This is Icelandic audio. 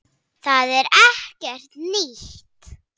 Það er ekkert nýtt.